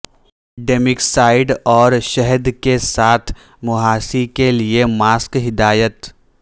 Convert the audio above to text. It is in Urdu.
ڈیمیکسائڈ اور شہد کے ساتھ مںہاسی کے لئے ماسک ہدایت